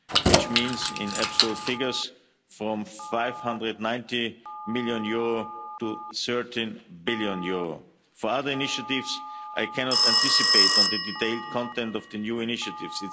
actions, which means in absolute figures, from EUR 590 million to EUR 13 billion. For other initiatives, I cannot anticipate on the detailed content of the new initiatives.